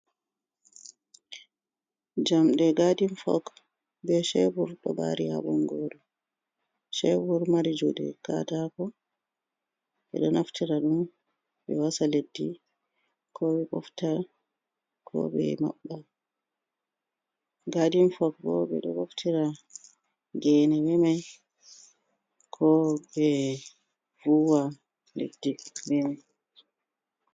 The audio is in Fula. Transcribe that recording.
Jamɗe gaadin fok, be chebur do ɓari ha bongoru. chebur mari jude katako be do naftira ɗum ɓe wasa leddi ko ɓe ɓofta ko be mabba, gaadin fok bo ɓe do boftira geene be mai ko be vuwa leddi be mai.